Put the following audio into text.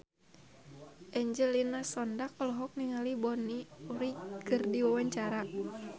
Angelina Sondakh olohok ningali Bonnie Wright keur diwawancara